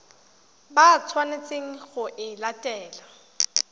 ba tshwanetseng go e latela